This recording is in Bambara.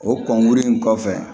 O kɔnkuru in kɔfɛ